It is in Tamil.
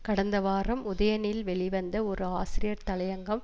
கடந்த வாரம் உதயனில் வெளி வந்த ஒரு ஆசிரியர் தலையங்கம்